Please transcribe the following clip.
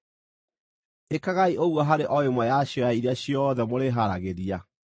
Ĩkagai ũguo harĩ o ĩmwe yacio ya iria ciothe mũrĩharagĩria.